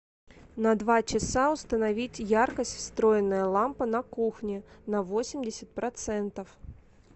на два часа установить яркость встроенная лампа на кухне на восемьдесят процентов